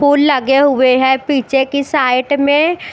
full लगे हुए है पीछे की साईट में--